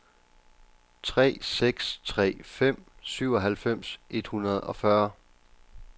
tre seks tre fem syvoghalvfems et hundrede og fyrre